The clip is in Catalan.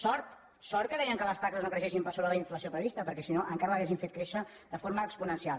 sort sort que deien que les taxes no creixessin per sobre de la inflació prevista perquè si no encara l’haurien fet créixer de forma exponencial